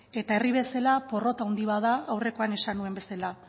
eta herri bezala porrot handi bat da aurrekoan esan nuen bezala